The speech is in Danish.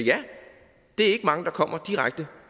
det er ikke mange der kommer direkte